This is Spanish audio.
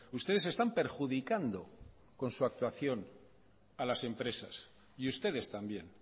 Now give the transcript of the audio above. ustedes están perjudicando con su actuación a las empresas y ustedes también